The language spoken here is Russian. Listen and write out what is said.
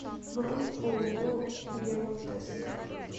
бронь ооо гемотест